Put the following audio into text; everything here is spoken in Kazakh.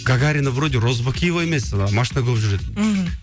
гагарина вроде розыбакиева емес ы машина көп жүретін мхм